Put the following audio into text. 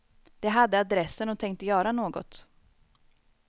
De hade adressen och tänkte göra något.